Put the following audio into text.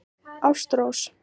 Ástrós